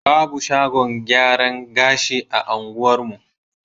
Babu shagon gyaran gashi a unguwarmu.